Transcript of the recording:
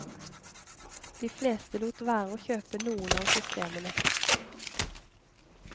De fleste lot være å kjøpe noen av systemene.